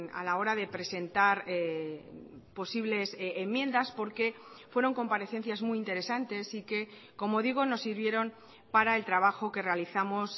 a la hora de presentar posibles enmiendas porque fueron comparecencias muy interesantes y que como digo nos sirvieron para el trabajo que realizamos